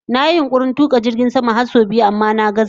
Na yi yunkurin/kokarin tuka jirgin sama har sau biyu amma na gazza